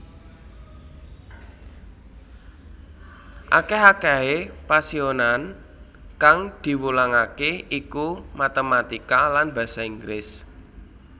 Akèh akèhé pasinaonan kang diwulangaké iku matématika lan basa Inggris